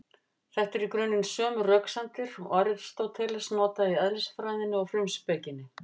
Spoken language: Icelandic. Þetta eru í grunninn sömu röksemdir og Aristóteles notaði í Eðlisfræðinni og Frumspekinni.